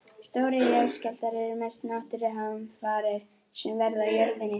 Stórir jarðskjálftar eru mestu náttúruhamfarir sem verða á jörðinni.